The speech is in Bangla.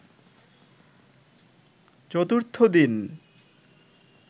চতুর্থ দিন